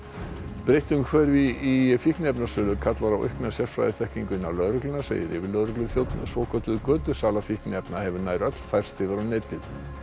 breytt umhverfi í fíkniefnasölu kallar á aukna sérfræðiþekkingu innan lögreglunnar segir yfirlögregluþjónn svokölluð götusala fíkniefna hefur nær öll færst yfir á netið